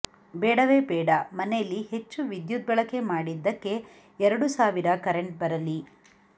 ಬೇಡವೇ ಬೇಡ ಮನೇಲಿ ಹೆಚ್ಚು ವಿದ್ಯುತ್ ಬಳಕೆ ಮಾಡಿದ್ದಕ್ಕೆ ಎರಡು ಸಾವಿರ ಕರೆಂಟ್ ಬರಲಿ